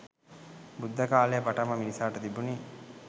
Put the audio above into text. බුද්ධ කාලයේ පටන්ම මිනිසාට තිබුණි.